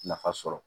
Nafa sɔrɔ